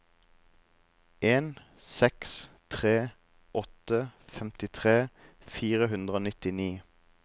en seks tre åtte femtitre fire hundre og nittini